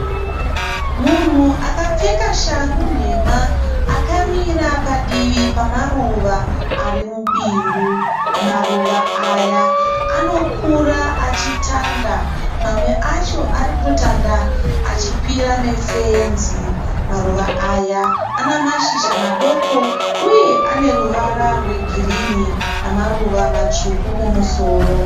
Munhu akapfeka shangu nhema akamira padivi pamaruva arimubindu. Maruva aya anokura achitanda. Mamwe acho arikutanda achikwira nefenzi. Maruva aya anamashizha madoko uye aneruvara rwegirinhi namaruva matsvuku kumusoro.